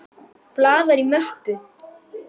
Blaðar í möppu.